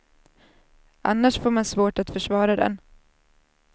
Annars får man svårt att försvara den.